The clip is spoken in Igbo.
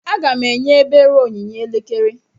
Aga m enye ebere onyinye elekere.